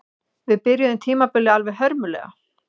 Við byrjuðum tímabilið alveg hörmulega